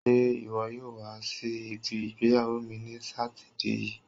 Ṣé iwọ yóò wa si ibi ìgbéyàwó mi ní sátidé yii?